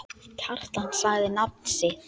Naflinn frjáls.